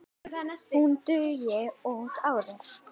Hún dugi út árið.